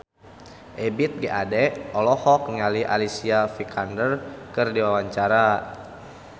Ebith G. Ade olohok ningali Alicia Vikander keur diwawancara